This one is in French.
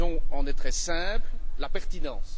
La raison en est très simple la pertinence.